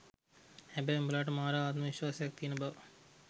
හැබැයි උඹලාට මාර ආත්ම විශ්වාසයක් තියෙන බව